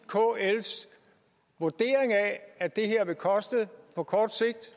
kls vurdering af at det her på kort sigt